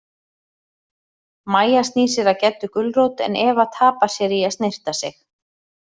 Mæja snýr sér að Geddu gulrót en Eva tapar sér í að snyrta sig.